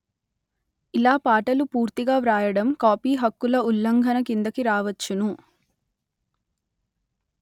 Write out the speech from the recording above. ఇలా పాటలు పూర్తిగా వ్రాయడం కాపీ హక్కుల ఉల్లంఘన కిందికి రావచ్చును